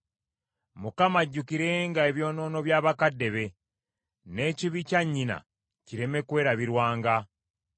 Mukama ajjukirenga ebyonoono bya bakadde be; n’ekibi kya nnyina kireme kwerabirwanga.